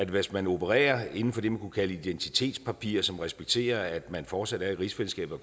hvis man opererer inden for det man kunne kalde for identitetspapirer som respekterer at man fortsat er i rigsfællesskabet